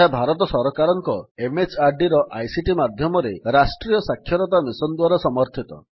ଏହା ଭାରତ ସରକାରଙ୍କ MHRDର ଆଇସିଟି ମାଧ୍ୟମରେ ରାଷ୍ଟ୍ରୀୟ ଶିକ୍ଷା ମିଶନ୍ ଦ୍ୱାରା ସମର୍ଥିତ